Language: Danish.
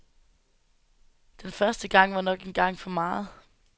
Den første gang var nok en gang for meget.